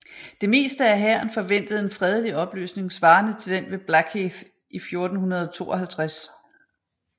Det meste af hæren forventede en fredelig opløsning svarende til den ved Blackheath i 1452